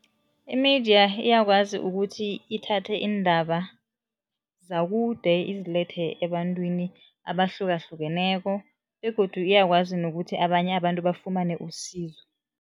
I-media iyakwazi ukuthi ithathe iindaba zakude izilethe ebantwini abahlukahlukeneko begodu iyakwazi nokuthi abanye abantu bafumane usizo.